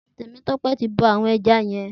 Temitope ti bọ awọn ẹ̀ja yèn